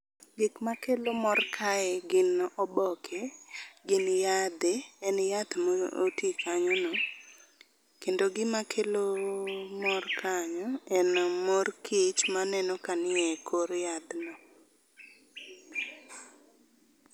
Gik makelo mor kae gin oboke, gin yadhe, en yath moti kanyo no. Kendo gima kelo mor kanyo en mor kich maneno kanie e kor yadhno.